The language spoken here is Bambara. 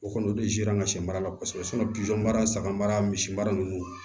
O kɔni o dezeransi mara la kosɛbɛ mara saga mara misi mara nunnu